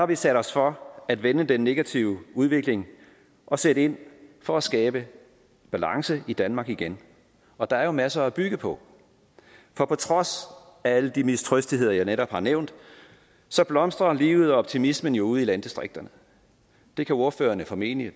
vi sat os for at vende den negative udvikling og sætte ind for at skabe balance i danmark igen og der er jo masser at bygge på for på trods af alle de mistrøstigheder jeg netop har nævnt blomstrer livet og optimismen ude i landdistrikterne det kan ordførerne formentlig